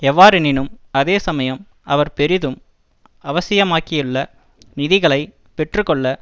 எவ்வாறெனினும் அதே சமயம் அவர் பெரிதும் அவசியமாகியுள்ள நிதிகளை பெற்று கொள்ள